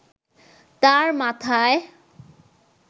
তাঁর মাথায়